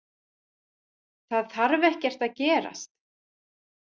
Það þarf ekkert að gerast.